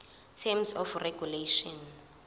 terms of regulation